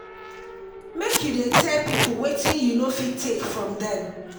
make you dey tell pipo wetin you no fit take from dem.